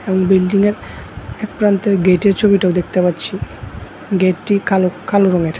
ওই বিল্ডিংয়ের একপ্রান্তের গেটের ছবিটাও দেখতে পাচ্ছি গেটটি কালো কালো রঙের।